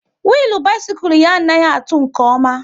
Willu bisikul ya anaghị atụ nke ọma